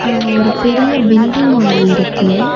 அங்க ஒரு பெரிய பில்டிங் ஒன்னு இருக்கு.